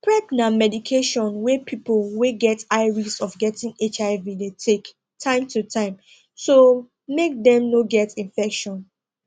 prep na medication wey people wey get high risk of getting hiv de take time to time to mk dem no get infection